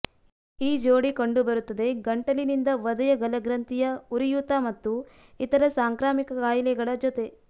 ಈ ಜೋಡಿ ಕಂಡುಬರುತ್ತದೆ ಗಂಟಲಿನಿಂದ ವಧೆಯ ಗಲಗ್ರಂಥಿಯ ಉರಿಯೂತ ಮತ್ತು ಇತರ ಸಾಂಕ್ರಾಮಿಕ ಕಾಯಿಲೆಗಳ ಜೊತೆ